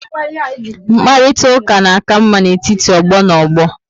Mkparitauka na aka ama n'etiti ogbo na ogbo